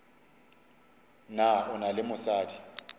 na o na le mosadi